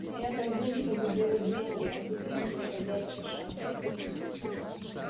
но я торгую чтобы делать деньги а тут мне представляется шанс